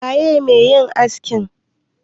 waye me yin askin?